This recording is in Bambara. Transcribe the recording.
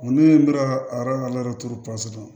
Ne ye n bɛ ka arajo laturu pɔsi